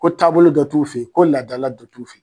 Ko taabolo dɔ tu'u fɛ yen, ko ladala de b'u fɛ yen.